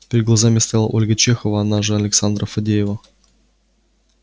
перед глазами стояла ольга чехова она же александра фадеева